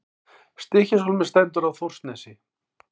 Stykkishólmur stendur á Þórsnesi.